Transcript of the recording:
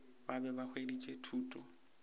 ba be ba hweditše thuto